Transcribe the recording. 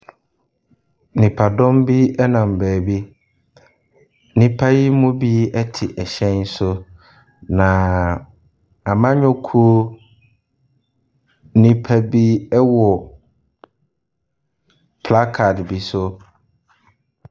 Nnipadɔm bi nam baabi. Nnipa yi mu bi te hyɛn so, na amannyɔkuo nnipa bi wɔ placard bi so.